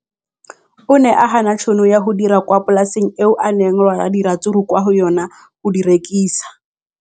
O ne a gana tšhono ya go dira kwa polaseng eo a neng rwala diratsuru kwa go yona go di rekisa.